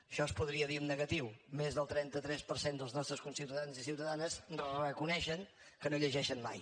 això es podria dir en negatiu més del trenta tres per cent dels nostres conciutadans i ciutadanes reconeixen que no llegeixen mai